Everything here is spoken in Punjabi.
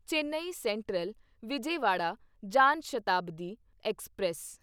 Chennai Central Vijayawada Jan Shatabdi express